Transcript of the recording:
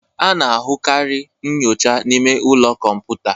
A na-ahụkarị nyocha n'ime ụlọ kọmputa.